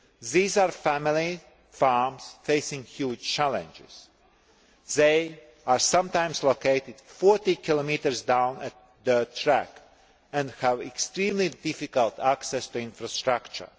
These are family farms facing huge challenges. They are sometimes located 40 km down a dirt track and have extremely difficult access to infrastructure.